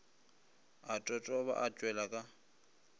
a totoba a tšwela ka